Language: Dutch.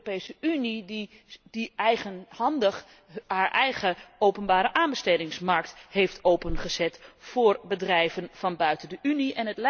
Het is de Europese Unie die eigenhandig haar eigen openbareaanbestedingsmarkt heeft opengezet voor bedrijven van buiten de Unie.